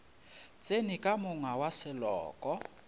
tsene ka monga wa seloko